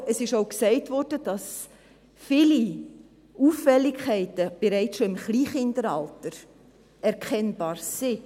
Aber es wurde auch gesagt, dass viele Auffälligkeiten bereits im Kleinkindalter erkennbar sind.